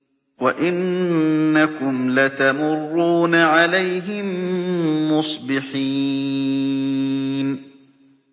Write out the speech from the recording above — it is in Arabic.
وَإِنَّكُمْ لَتَمُرُّونَ عَلَيْهِم مُّصْبِحِينَ